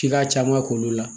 K'i ka caman k'olu la